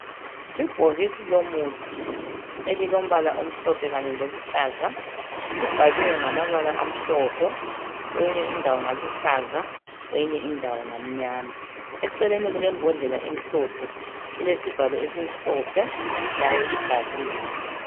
ibhokisi lomuthi elilombala omhlophe kanye loluhlaza libhaliwe ngamabala amhlophe kweyinye indawo ngaluhlaza kweyinye indawo ngamnyama eceleni kulembodlela emhlophe ilesivalo esimhlophe layo ibhaliwe